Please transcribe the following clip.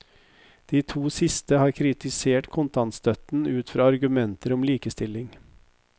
De to siste har kritisert kontantstøtten ut fra argumenter om likestilling.